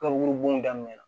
daminɛna